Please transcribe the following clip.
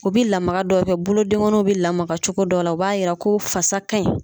U bi lamaka dɔ kɛ bolodenkɔniw be lamaka cogo dɔ la, o b'a yira ko fasaw ka ɲi.